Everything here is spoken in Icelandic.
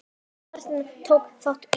Martin, tók þátt í.